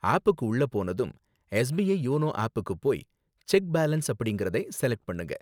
ஆப்க்கு உள்ள போனதும், SBI YONO ஆப்க்கு போய் செக் பேலன்ஸ் அப்படிங்கறதை செலக்ட் பண்ணுங்க.